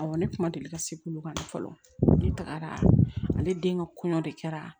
Awɔ ne kuma deli ka se olu kan fɔlɔ ne tagara ale den ka kɔɲɔ de kɛra